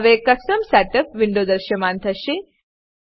હવે custom setup custom setup window દૃશ્યમાન થશે